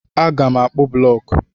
Aga m akpụ blọk.